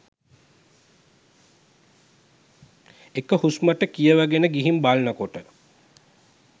එක හුස්මට කියවගෙන ගිහින් බලනකොට